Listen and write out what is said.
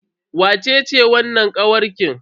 Wacece wannan kawarkin?